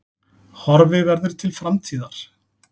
Horfi verður til framtíðar